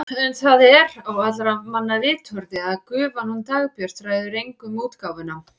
En það er á allra manna vitorði að gufan hún Dagbjört ræður engu um útgáfuna.